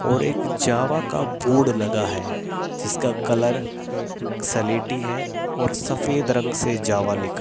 और एक जावा का बोर्ड लगा है जिसका कलर सलेटी है और सफेद रंग से जावा लिखा --